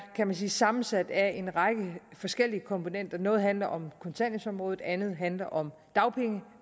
kan man sige sammensat af en række forskellige komponenter noget handler om kontanthjælpsområdet andet handler om